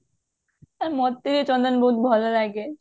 ଆରେ ମତେ ଚନ୍ଦନ ବହୁତ ଭଲ ଲାଗେ